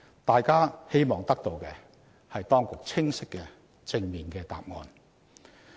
大家希望得到的是當局清晰及正面的答案。